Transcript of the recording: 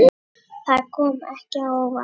Sölva en sleppti strax takinu.